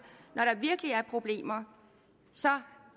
når der virkelig er problemer så